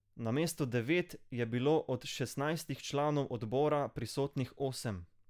Namesto devet je bilo od šestnajstih članov odbora prisotnih osem.